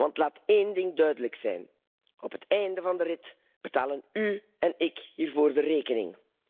Want laat één ding duidelijk zijn op het einde van de rit betalen u en ik hiervoor de rekening.